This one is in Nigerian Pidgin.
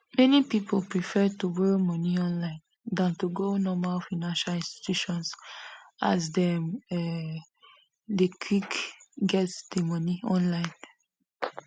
many people prefer to borrow money online dan to go normal financial institutions as dem um deynquick get di money online